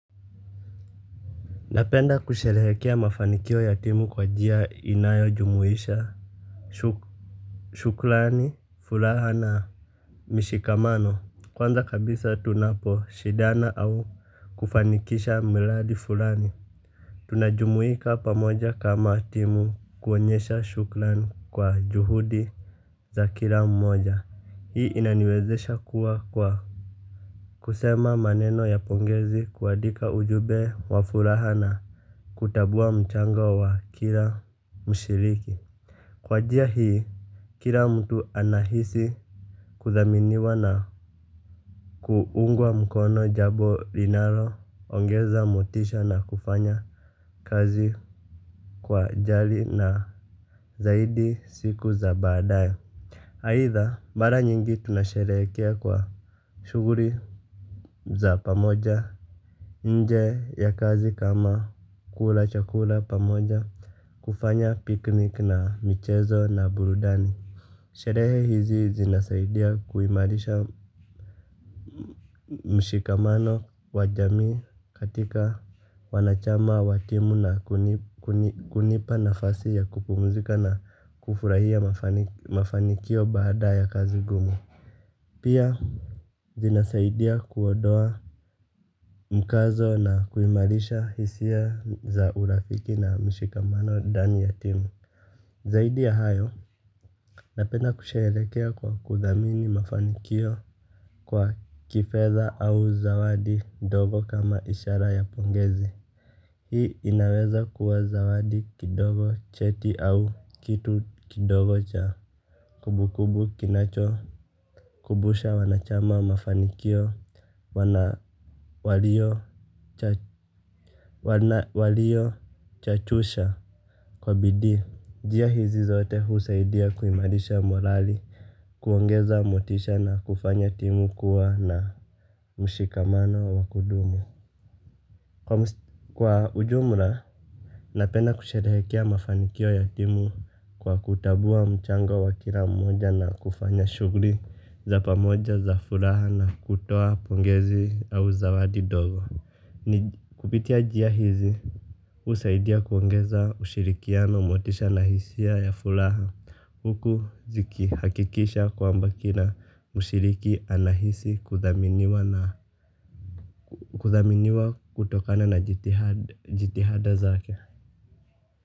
Napenda kusherehekea mafanikio ya timu kwa njia inayojumuisha shukrani, furaha na, mishikamano. Kwanza kabisa tunapo shidana au kufanikisha miradi fulani. Tunajumuika pamoja kama timu kuonyesha shukrani kwa juhudi za kila mmoja, hii inaniwezesha kuwa kwa kusema maneno ya pongezi kuandika ujumbe wa furaha na kutabua mchango wa kila mshiriki. Kwa njia hii, kila mtu anahisi kuthaminiwa na kuungwa mkono jabo linalo ongeza motisha na kufanya kazi kwa jali na zaidi siku za badaye. Aidha, mara nyingi tunasherekea kwa shuguli za pamoja. Nje ya kazi kama kula chakula pamoja. Kufanya piknik na michezo na burudani. Sherehe hizi zinasaidia kuimarisha mshikamano wa jamii katika wanachama wa timu na kunipa nafasi ya kupumuzika na kufurahia mafanikio baada ya kazi ngumu. Pia zinasaidia kuodoa mkazo na kuimarisha hisia za urafiki na mshikamano ndani ya timu. Zaidi ya hayo. Napena kusherekea kwa kuthamini mafanikio. Kwa kifedha au zawadi ndogo kama ishara ya pongezi. Hii inaweza kuwa zawadi kidogo cheti au kitu kidogo cha kumbu kumbu kinacho kubusha wanachama mafanikio. Wanawalio chachusha. Kwa bidii. Njia hizi zote husaidia kuimarisha morali kuongeza motisha na kufanya timu kuwa na mshikamano wa kudumu. Kwa ujumla, napenda kusherehekea mafanikio ya timu kwa kutambua mchango wa kila mmoja na kufanya shugli za pamoja za furaha na kutoa pongezi au zawadi ndogo. Ni kupitia njia hizi. Husaidia kuongeza ushirikiano motisha na hisia ya ya furaha huku ziki hakikisha kwamba kila mshiriki anahisi kuthaminiwa kutokana na jitihada zake.